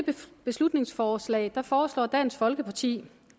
beslutningsforslag foreslår dansk folkeparti